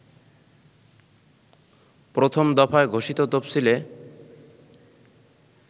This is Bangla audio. প্রথম দফায় ঘোষিত তফসিলে